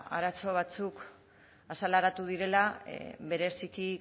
arazo batzuk azaleratu direla bereziki